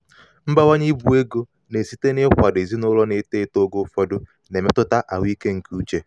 mbawanye ibu ego na-esite n'ịkwado ezinụlọ na-eto eto oge ụfọdụ na-emetụta ahụike nke uche.